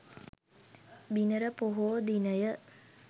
බිනර පොහෝ දිනය